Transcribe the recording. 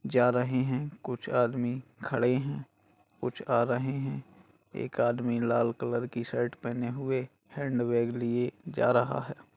जा रहे है कुछ आदमी खड़े है कुछ आ रहे है एक आदमी लाल कलर की शर्ट पहने हुए हैंडबैग लिए हुए जा रहा है।